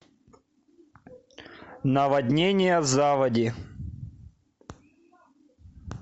наводнение заводи